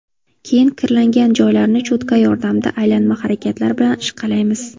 Keyin kirlangan joylarni cho‘tka yordamida aylanma harakatlar bilan ishqalaymiz.